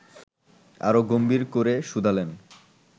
আরো গম্ভীর করে শুধালেন